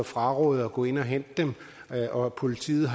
frarådet at gå ind og hente dem og hvor politiet